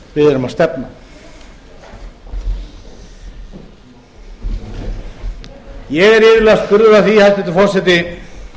við erum að stefna ég er iðulega spurður að því hæstvirtur forseti